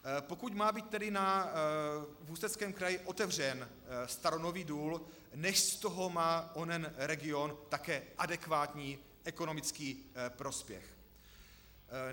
Pokud má být tedy v Ústeckém kraji otevřen staronový důl, nechť z toho má onen region také adekvátní ekonomický prospěch.